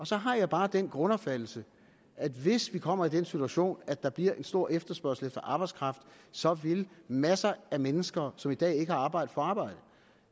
så har jeg bare den grundopfattelse at hvis vi kommer i den situation at der bliver en stor efterspørgsel efter arbejdskraft så vil masser af mennesker som i dag ikke har arbejde få arbejde